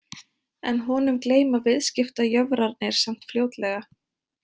En honum gleyma viðskiptajöfrarnir samt fljótlega.